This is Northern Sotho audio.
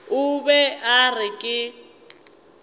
o be a re ke